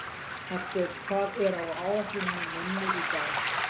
Hallsteinn, hvað er á áætluninni minni í dag?